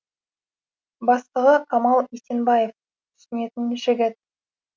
бастығы камал есенбаев түсінетін жігіт